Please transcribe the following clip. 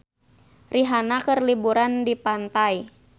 Rihanna keur liburan di pantai